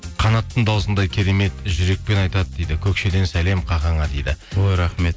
қанаттың дауысындай керемет жүрекпен айтады дейді көкшеден сәлем қахаңа дейді ой рахмет